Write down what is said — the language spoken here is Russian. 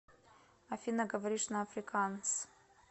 афина говоришь на африкаанс